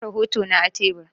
Na bar rahotona a tebur.